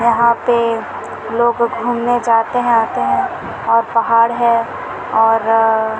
यहाँ पे लोग घूमने जाते है आते है और पहाड़ है और--